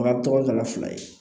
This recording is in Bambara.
tɔgɔ dala fila ye